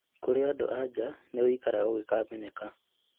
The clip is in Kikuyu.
Kũrĩ adũ andũ anja nĩwikaraga ũgĩkamenyeka